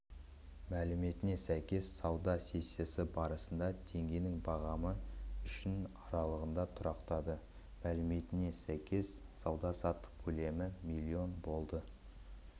мәліметіне сәйкес сауда сессиясы барысында теңгенің бағамы үшінт аралығында тұрақтады мәліметіне сәйкес сауда-саттық көлемі миллион болды